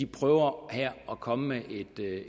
prøver at komme med